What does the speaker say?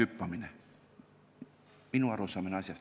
Selline on minu arusaam asjast.